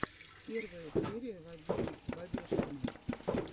первая серия вадима бабешкина